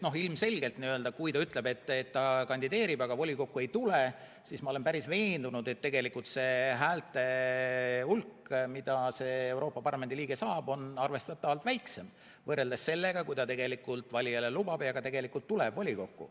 Ma olen veendunud, et kui ta ütleb, et ta kandideerib, aga volikokku ei tule, siis häälte hulk, mida see Euroopa Parlamendi liige saab, on arvestatavalt väiksem, võrreldes sellega, kui ta lubab valijale ja ka tegelikult tuleb volikokku.